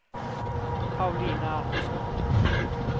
Paulina Andersson